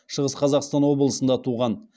шығыс қазақстан облысында туған